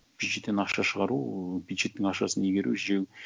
бюджеттен ақша шығару бюджеттің ақшасын игеру жеу